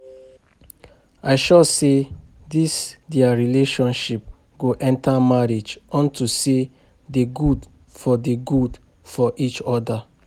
I sure say dis their relationship go enter marriage unto say dey good for the good for each other